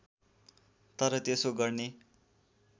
तर त्यसो गर्ने